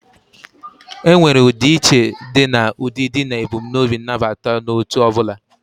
Enwere udi iche di na udidi na ebumnobi nabata n'otu obula.